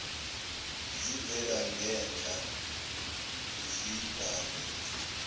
zivela ngenhla zibhalwe